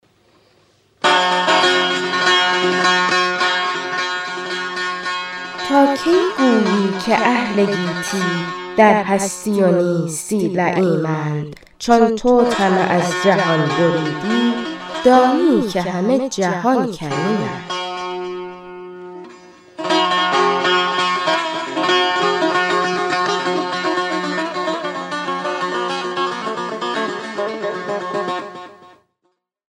تا کی گویی که اهل گیتی در هستی و نیستی لییمند چون تو طمع از جهان بریدی دانی که همه جهان کریمند